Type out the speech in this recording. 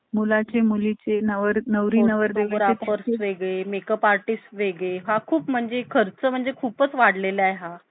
Business करतांना तुम्ही अनेक प्रकारचे business आहे, पण business करतांना तुम्ही चांगला आणि एक आपुलकीचा business करा.